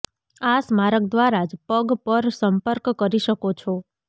આ સ્મારક દ્વારા જ પગ પર સંપર્ક કરી શકો છો